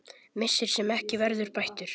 Missir sem ekki verður bættur.